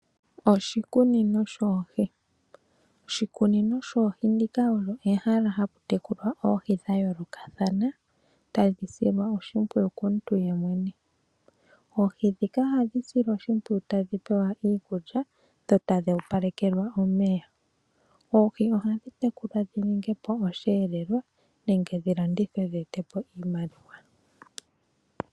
Oshikunino sho oohi ,oshikunino sho oohi ndika olyo ehala moka hamu tekulwa oohi dhayoolokathana tadhi silwa oshimpwiyu koomuntu yemwene. Oohi dhika ohadhi silwa oshimpwiyu tadhi pewa iikulya dho tadhi opalekelwa omeya. Oohi ohadhi tekulwa dhi ninge po oshiyelelwa nenge dhi landithwe dhi ete po iimaliwa.